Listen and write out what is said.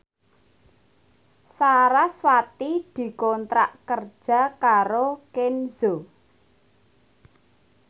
sarasvati dikontrak kerja karo Kenzo